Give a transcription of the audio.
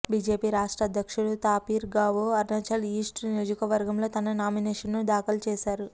BJP రాష్ట్ర అధ్యక్షుడు Tapir Gao Arunachal east నియోజకవర్గంలో తన నామినేషన్ను దాఖలు చేశారు